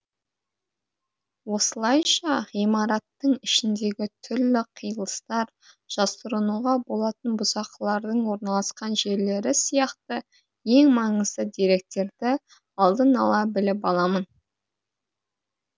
осылайша ғимараттың ішіндегі түрлі қиылыстар жасырынуға болатын бұзақылардың орналасқан жерлері сияқты ең маңызды деректерді алдын ала біліп аламын